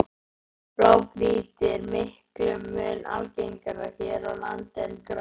Blágrýti er miklum mun algengara hér á landi en grágrýti.